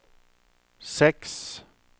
seks